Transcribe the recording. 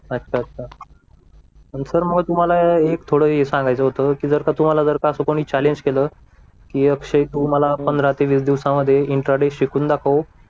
अच्छा अच्छा आणि सर मग तुम्हाला एक थोडं सांगायचं होतं की जर का तुम्हाला असं कोणी चॅलेंज केलं अक्षय तू मला पंधरा ते वीस दिवसांमध्ये इंट्राडे शिकून दाखव